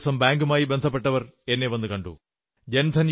കഴിഞ്ഞ ദിവസം ബാങ്കുമായി ബന്ധപ്പെട്ടവർ എന്നെ വന്നു കണ്ടു